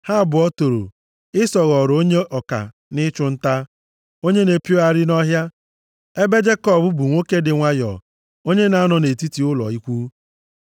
Ha abụọ toro, Ịsọ ghọrọ onye ọka nʼịchụ nta, onye na-epiogharị nʼọhịa, ebe Jekọb bụ nwoke dị nwayọọ, onye na-anọ nʼetiti ụlọ ikwu.